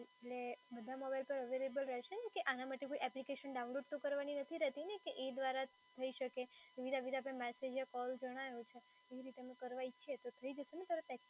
એટલે બધા સોંગ તો available રહેશે ને કે આના માટે કોઈ એપ્લિકેશન ડાઉનલોડ તો કરવાની નથી રહેતીને કે એ દ્વારા જ થઈ શકે કૉલ જણાયો છે એવી રીતે અમે કરવા ઇચ્છીએ તો થઈ જશે ને